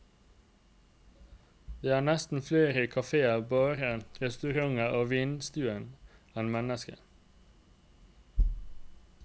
Det er nesten flere kaféer, barer, restauranter og vinstuer enn mennesker.